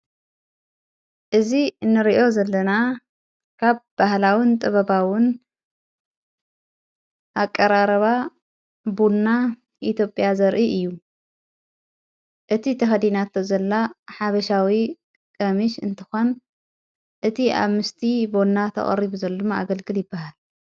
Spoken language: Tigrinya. እዚ ንርእዮ ዘለና ካብ ባህላዉን ጥበባዉን ኣቀራረባ ቡንና ኢትዩጴያ ዘርኢ እዩ እቲ ተኸዲናቶ ዘላ ሓበሻዊ ቀሚሽ እንተኾን እቲ ኣብ ምስቲ ቦንና ተቐሪቡ ዘሎሚ ኣገልግል ይበሃል።